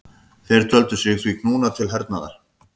Þeir töldu sig því knúna til hernaðar.